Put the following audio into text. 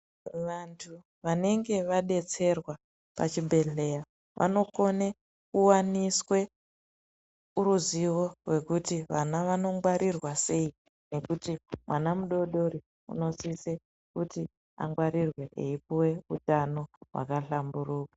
Vantu vanenge vabetserwa pachibhedhleya vanokone kuvaniswe ruzivo rwekuti vana vanongwarirwa sei. Nekuti mwana mudodori unosise kuti angwarirwe eipuve utano hwakashamburuka.